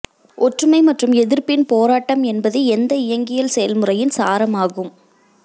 ஒற்றுமை மற்றும் எதிர்ப்பின் போராட்டம் என்பது எந்த இயங்கியல் செயல்முறையின் சாரம் ஆகும்